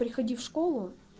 приходи в школу